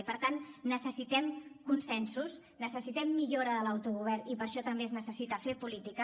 i per tant necessitem consensos necessitem millora de l’autogovern i per això també es necessita fer política